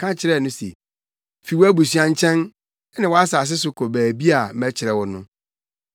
ka kyerɛɛ no se, ‘Fi wʼabusuafo nkyɛn ne wʼasase so kɔ baabi a mɛkyerɛ wo no.’